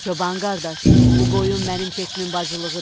Çoban qardaş, bu qoyun mənim keçimin bacılığıdır.